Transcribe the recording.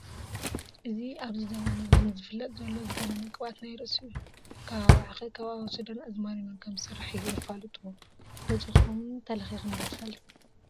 እዚ ኣብዚ ዘበን እዚ ዝፋለጥ ዘሎን ዝገነነ ቅብኣት ናይ ርአሲ እዩ፡፡ ካብ ኣባዓኸ፣ ካብ ኣወስዳን ኣዝማሪኖን ከምዝስራሕ የፋልጥዎ፡፡ ገዚእኹም ተለኺኽን ዶ ትፈልጣ?